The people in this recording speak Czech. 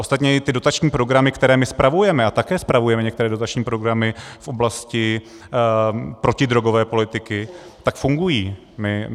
Ostatně i ty dotační programy, které my spravujeme, a také spravujeme některé dotační programy v oblasti protidrogové politiky, tak fungují.